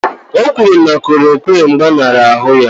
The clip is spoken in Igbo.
O kwuru na klòròkwịn gbaṅara ahụ ya